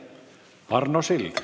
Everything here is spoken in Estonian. Arno Sild.